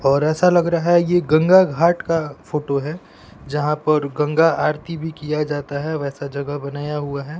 और ऐसा लग रहा है ये गंगा घाट का फोटो है जहां पर गंगा आरती भी किया जाता है वैसा जगह बनाया हुआ है।